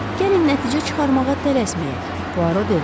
Gəlin nəticə çıxarmağa tələsməyək, Puaro dedi.